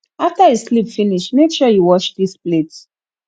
after you sleep finish make sure you wash dis plate